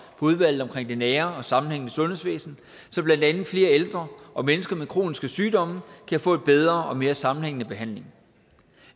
udvalget omkring det nære og sammenhængende sundhedsvæsen så blandt andet flere ældre og mennesker med kroniske sygdomme kan få en bedre og mere sammenhængende behandling